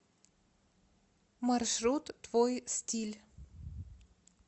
маршрут твой стиль